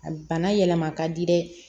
A bana yɛlɛma ka di dɛ